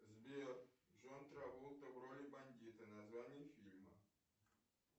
сбер джон траволта в роли бандита название фильма